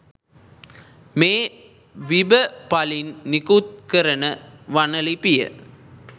මේ විබ පළින් නිකුත් කරන වන ලිපිය